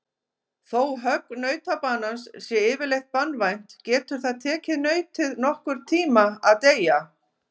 Þó högg nautabanans sé yfirleitt banvænt getur það tekið nautið nokkurn tíma að deyja.